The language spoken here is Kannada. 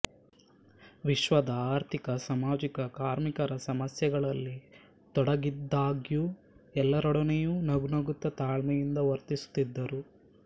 ವಿಶ್ವದ ಆರ್ಥಿಕಸಾಮಾಜಿಕ ಕಾರ್ಮಿಕರ ಸಮಸ್ಯೆಗಳಲ್ಲಿ ತೊಡಗಿದ್ದಾಗ್ಯೂ ಎಲ್ಲರೊಡನೆಯೂ ನಗುನಗುತ್ತ ತಾಳ್ಮೆಯಿಂದ ವರ್ತಿಸುತ್ತಿದ್ದರು